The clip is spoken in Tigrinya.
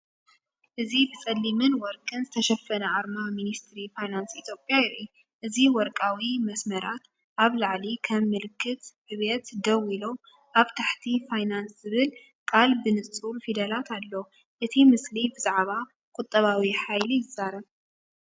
እዚ ብጸሊምን ወርቅን ዝተሸፈነ ኣርማ ሚኒስትሪ ፋይናንስ ኢትዮጵያ የርኢ። እዚ ወርቃዊ መስመራት ኣብ ላዕሊ ከም ምልክት ዕብየት ደው ኢሎም፤ ኣብ ታሕቲ ፋይናንስ ዝብል ቃል ብንጹር ፊደላት ኣሎ፡ እቲ ምስሊ ብዛዕባ ቁጠባዊ ሓይሊ ይዛረብ።